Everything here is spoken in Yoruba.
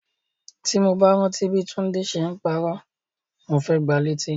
Ti mo bá rántí bi Tunde ṣe n parọ́, mo fẹ gbà létí.